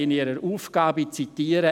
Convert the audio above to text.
Ich zitiere: